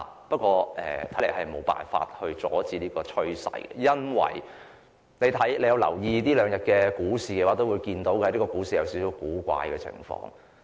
不過，看來我們無法阻止這種趨勢，因為這兩天的股市出現有點古怪的情況。